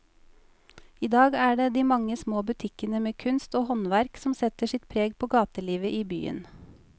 I dag er det de mange små butikkene med kunst og håndverk som setter sitt preg på gatelivet i byen.